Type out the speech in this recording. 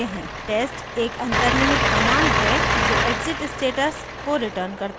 * test एक अन्तर्निहित command है जो exit status को returns करता है